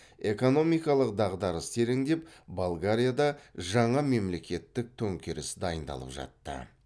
экономикалық дағдарыс тереңдеп болгарияда жаңа мемлекеттік төңкеріс дайындалып жатты